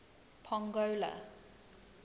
pongola